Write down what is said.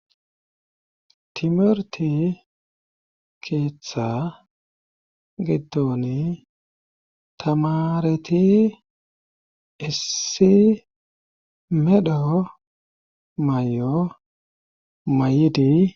Timirite keettaa giddoni tamareti issi medho mayo mayidi.